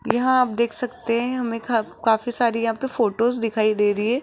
यहां आप देख सकते हैं हमे का काफी सारी यहां पे फोटोस दिखाई दे रही है।